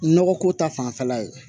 Nɔgɔ ko ta fanfɛla ye